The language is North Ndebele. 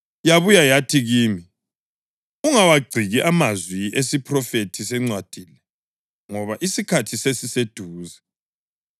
Yabuya yathi kimi, “Ungawagciki amazwi esiphrofethi sencwadi le, ngoba isikhathi sesiseduze.